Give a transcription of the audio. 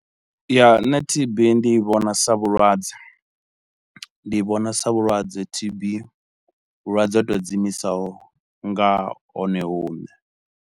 Ya nne T_B ndi i vhona sa vhulwadze ndi i vhona sa vhulwadze T_B, vhulwadze ho tou dzi imisaho nga hone hune.